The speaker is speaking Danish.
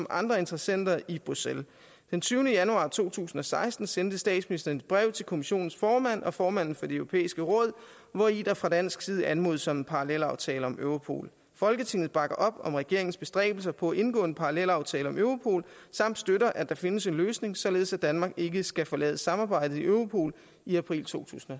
og andre interessenter i bruxelles den tyvende januar to tusind og seksten sendte statsministeren et brev til kommissionens formand og formanden for det europæiske råd hvori der fra dansk side anmodes om en parallelaftale om europol folketinget bakker op om regeringens bestræbelser på at indgå en parallelaftale om europol og støtter at der findes en løsning således at danmark ikke skal forlade samarbejdet i europol i april totusinde